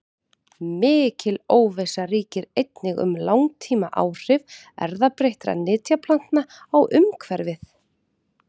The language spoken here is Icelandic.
Mikil óvissa ríkir einnig um langtímaáhrif erfðabreyttra nytjaplantna á umhverfið.